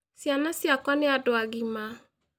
Ciana ciakwa nĩ andũ agima